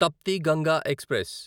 Tapti Ganga express